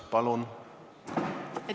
Palun!